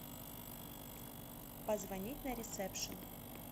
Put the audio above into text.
позвонить на ресепшн